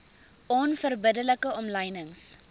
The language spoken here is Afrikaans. onverbidde like omlynings